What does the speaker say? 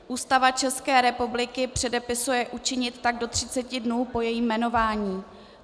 Ústava České republiky předepisuje učinit tak do 30 dnů po jejím jmenování.